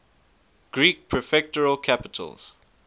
greek prefectural capitals